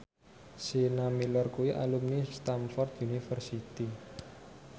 Sienna Miller kuwi alumni Stamford University